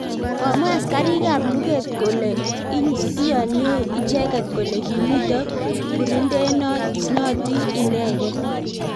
komwa askaritab lugrt kule iyonei icheket kole komito burindenoti inegei